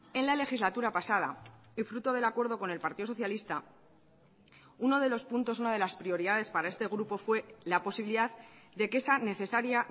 en la legislatura pasada y fruto del acuerdo con el partido socialista uno de los puntos una de las prioridades para este grupo fue la posibilidad de que esa necesaria